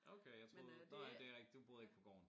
Okay jeg troede nå ja det er rigtigt du boede ikke på gården